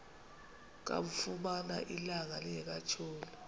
kamfumana ilanga lingekatshoni